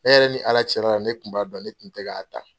Ne yɛrɛ ni Ala cɛla la ne kun b'a dɔn ne tun tɛ k'a ta.